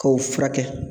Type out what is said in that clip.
K'o furakɛ